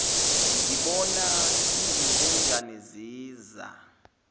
ngibona izinkonjane ziza